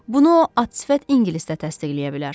Bunu o at sifət ingilisdə təsdiqləyə bilər.